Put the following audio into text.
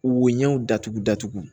Woɲɛw datugu datugu